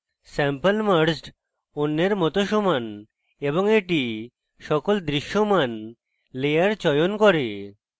sample merged অন্যের মত সমান এবং এটি sample দৃশ্যমান লেয়ার চয়ন করে